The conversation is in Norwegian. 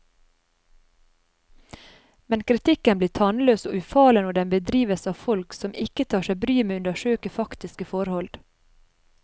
Men kritikken blir tannløs og ufarlig når den bedrives av folk som ikke tar seg bryet med å undersøke faktiske forhold.